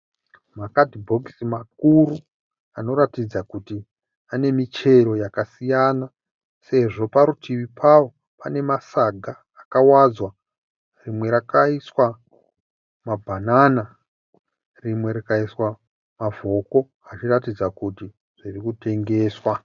Makatibhokisi makuru anoratidza kuti ane michero yakasiyana sezvo parutivi pawo pane masaga akawadzwa. Rimwe rakaiswa mabhanana rimwe rikaiswa mavhoko achiratidza kuti zviri kutengeswa.